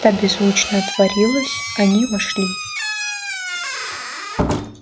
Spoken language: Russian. та беззвучно отворилась они вошли